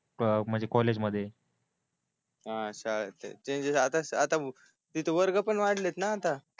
अ म्हणजे कॉलेज मध्ये अ अ शाळा चेंजेस आता आता तिथे वर्ग पण वाढले न आता